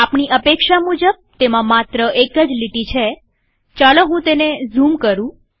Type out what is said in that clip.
આપણી અપેક્ષા મુજબ તેમાં માત્ર એક જ લીટી છેચાલો હું તેને ઝૂમ કરું